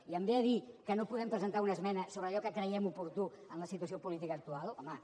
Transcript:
i em ve a dir que no podem presentar una esmena sobre allò que creiem oportú en la situació política actual home